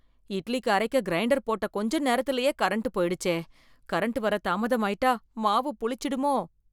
இட்லிக்கு அரைக்க கிரைண்டர் போட்ட கொஞ்ச நேரத்துலயே கரண்ட் போய்டுச்சே... கரண்ட் வர தாமதமாய்ட்டா மாவு புளிச்சிடுமோ...